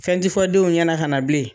Fɛn t'i fɔ denw ɲɛna ka na bilen.